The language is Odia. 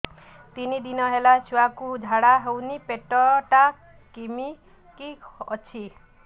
ତିନି ଦିନ ହେଲା ଛୁଆକୁ ଝାଡ଼ା ହଉନି ପେଟ ଟା କିମି କି ଅଛି